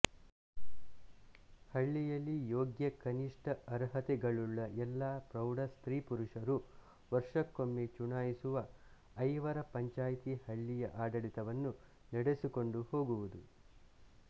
ಹಳ್ಳಿಯಲ್ಲಿ ಯೋಗ್ಯಕನಿಷ್ಠ ಅರ್ಹತೆಗಳುಳ್ಳ ಎಲ್ಲ ಪ್ರೌಢ ಸ್ತ್ರೀಪುರುಷರೂ ವರ್ಷಕ್ಕೊಮ್ಮೆ ಚುನಾಯಿಸುವ ಐವರ ಪಂಚಾಯಿತಿ ಹಳ್ಳಿಯ ಆಡಳಿತವನ್ನು ನಡೆಸಿಕೊಂಡು ಹೋಗುವುದು